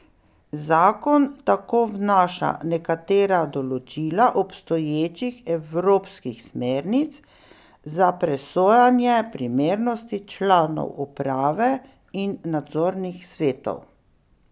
Zakon tako vnaša nekatera določila obstoječih evropskih smernic za presojanje primernosti članov uprave in nadzornih svetov.